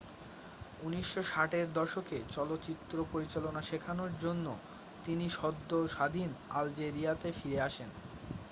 1960 এর দশকে চলচ্চিত্র পরিচালনা শেখানোর জন্য তিনি সদ্য স্বাধীন আলজেরিয়াতে ফিরে আসেন